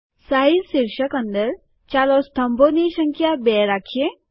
size શિર્ષક અંદર ચાલો સ્તંભોની સંખ્યા 2 રાખીએ